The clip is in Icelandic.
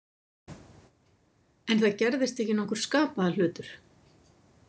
En það gerðist ekki nokkur skapaður hlutur.